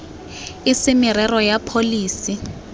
e se merero ya pholesi